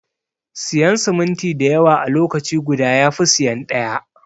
Siyan siminti dayawa a lokaci guda yafi siyan ɗaya.